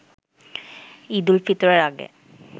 ঈদ উল ফিতরের আগে